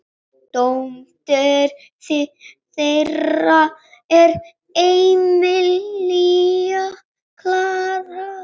Dóttir þeirra er Emilía Klara.